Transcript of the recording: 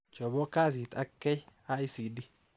Chobo kasit ak KICD